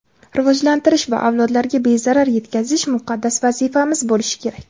rivojlantirish va avlodlarga bezarar yetkazish muqaddas vazifamiz bo‘lishi kerak.